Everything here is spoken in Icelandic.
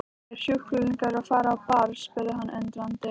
Er sjúklingurinn að fara á ball? spurði hann undrandi.